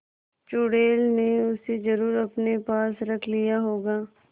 चुड़ैल ने उसे जरुर अपने पास रख लिया होगा